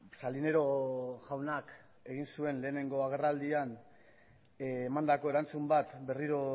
salinero jaunak egin zuen lehenengo agerraldian emandako erantzun bat berriro